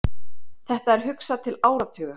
Þetta er hugsað til áratuga.